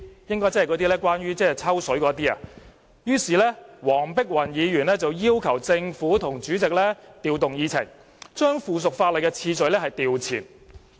應該是關於"抽水"的問題吧——於是她要求政府和主席調動議程，把附屬法例的次序調前。